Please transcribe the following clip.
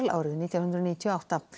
árið nítján hundruð níutíu og átta